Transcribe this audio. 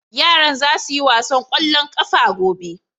yaran za su yi wasan kwallon ƙafa gobe